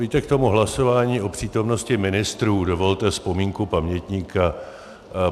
Víte, k tomu hlasování o přítomnosti ministrů dovolte vzpomínku pamětníka.